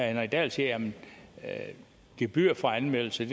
henrik dahl siger at gebyret for anmeldelse